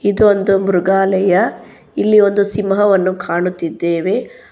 ಇದು ಒಂದು ಮೃಗಾಲಯ ಇಲ್ಲಿ ಒಂದು ಸಿಂಹವನ್ನು ಕಾಣುತ್ತಿದ್ದೇವೆ.